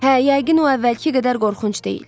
Hə, yəqin o əvvəlki qədər qorxunc deyil.